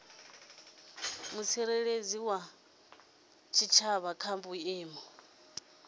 mutsireledzi wa tshitshavha kha vhuimo